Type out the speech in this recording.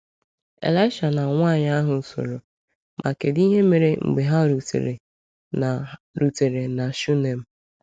Elisha na nwaanyị ahụ soro, ma kedụ ihe mere mgbe ha rutere na rutere na Shunem?